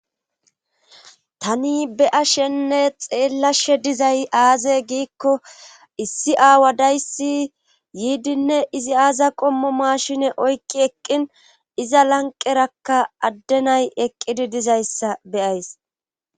Tani be7ashenne xeellashe dizay aaze giikko issi aawa dayssi yiidinne izi aaza qommo maashine oykki eqqin iza lanqerakka addenay eqqidi dizayssa be7ays.